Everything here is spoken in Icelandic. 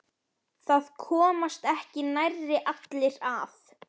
Hún unir sér þó vel komin aftur til Parísar.